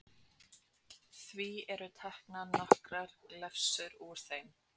Því eru hér teknar nokkrar glefsur úr þeim